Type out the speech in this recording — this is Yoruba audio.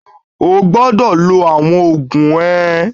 O gbọ́dọ̀ lo àwọn oògùn ẹ!